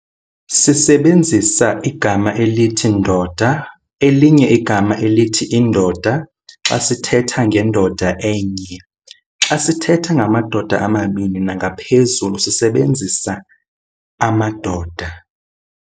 Sisebenzisa igama elithi "ndoda", elinye igama elithi "indoda" xa sithetha ngendoda enye. Xa sithetha ngamadoda amabini nangaphezulu, sisebenzisa "amadoda".